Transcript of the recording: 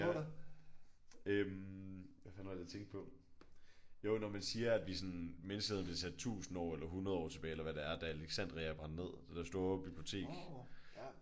Ja øh hvad fanden var det jeg tænkte på? Jo når man siger at vi sådan menneskeheden blev sat 1000 år eller 100 år eller hvad det er tilbage da Alexandria brændte ned? Det der store bibliotek